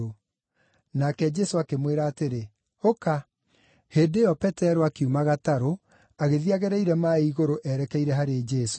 Nake Jesũ akĩmwĩra atĩrĩ, “Ũka.” Hĩndĩ ĩyo, Petero akiuma gatarũ, agĩthiĩ agereire maaĩ igũrũ erekeire harĩ Jesũ.